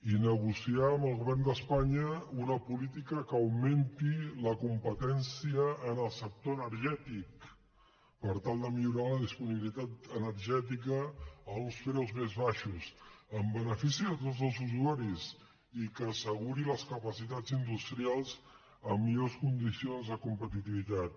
i negociar amb el govern d’espanya una política que augmenti la competència en el sector energètic per tal de millorar la disponibilitat energètica a uns preus més baixos en benefici de tots els usuaris i que asseguri les capacitats industrials amb millors condicions de competitivitat